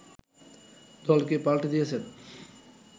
দলকে পাল্টে দিয়েছেন